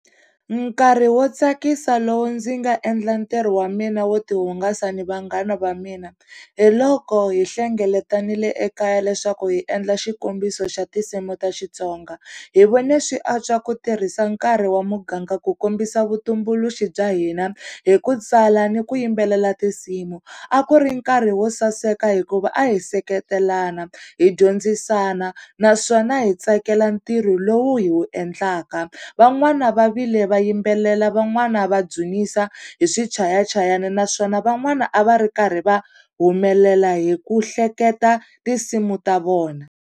Nkarhi wo tsakisa lowu ndzi nga endla ntirho wa mina wo tihungasa ni vanghana va mina, hi loko hi hlengeletanile ekaya leswaku hi endla xikombiso xa tinsimu ta Xitsonga. Hi vone swi antswa ku tirhisa nkarhi wa muganga ku kombisa vutumbuluxi bya hina hi ku tsala ni ku yimbelela tinsimu. A ku ri nkarhi wo saseka hikuva a hi seketelana, hi dyondzisana naswona hi tsakela ntirho lowu hi wu endlaka. Van'wana va vile va yimbelela van'wana va dzunisa hi swichayachayani, naswona van'wana a va ri karhi va humelela hi ku hleketa tinsimu ta vona.